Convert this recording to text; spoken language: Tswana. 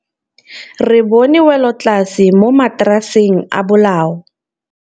Re bone wêlôtlasê mo mataraseng a bolaô.